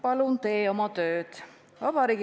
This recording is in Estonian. Palun tee oma tööd!